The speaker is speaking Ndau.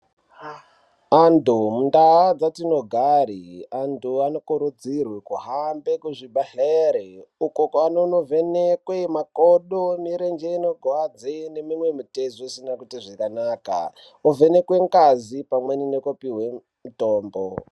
Antu mundaa dzatinogari antu anokurudzirwe kuhambe kuzvibhedhleri uko kwanonovhenekwe makodo, mirenje inorwadze neimwe mitezo isina kuite zvakanaka , ovhenekwe ngazi pamweni nekupihwe mitombo.